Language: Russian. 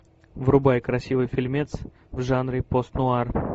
врубай красивый фильмец в жанре пост нуар